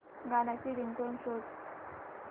गाण्याची रिंगटोन शोध